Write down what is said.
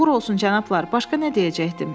Uğur olsun cənablar, başqa nə deyəcəkdim?